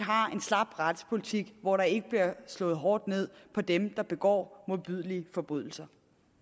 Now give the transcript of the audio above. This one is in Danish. slap retspolitik hvor der ikke bliver slået hårdt ned på dem der begår modbydelige forbrydelser